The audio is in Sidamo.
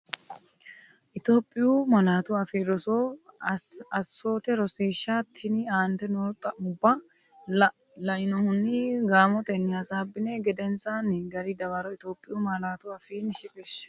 Itophiyu Malaatu Afii Roso Assote Rosiishsha Mite Aante noo xa’mubba lainohunni gaamotenni hasaabbini gedensaanni gari dawaro Itophiyu malaatu afiinni shiqishshe.